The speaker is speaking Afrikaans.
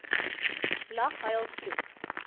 lag huil vloek